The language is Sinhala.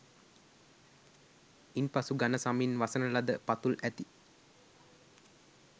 ඉන් පසු ඝන සමින් වසන ලද පතුල් ඇති